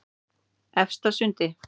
Efstasundi